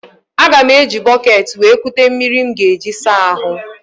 Aga m eji ihe eji bọkeeti wee kute mmiri m ga eji saa ahụ.